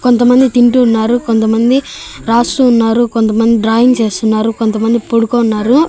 కొంతమంది తింటూ ఉన్నారు కొంతమంది రాస్తూ ఉన్నారు కొంతమంది డ్రాయింగ్ చేస్తున్నారు కొంతమంది పొడుకో ఉన్నారు.